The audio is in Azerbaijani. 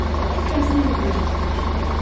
O tikməsini əlində gətirmişdi.